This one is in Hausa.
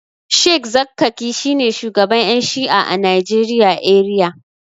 sheikh zakkaki shine shugaban Yan shi'a a Najeriya eriya.